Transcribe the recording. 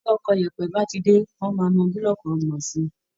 Bí ọkọ̀ yèèpẹ̀ bá ti dé, wọ́n máa mọ búlọ́ọ̀kù ọgbọ̀n sí i